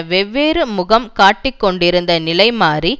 வெவ்வேறு முகம் காட்டிக்கொண்டிருந்த நிலை மாறி